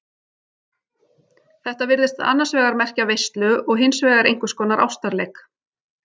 Þetta virðist annars vegar merkja veislu og hins vegar einhvers konar ástarleik.